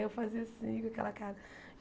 Aí eu fazia assim com aquela cara.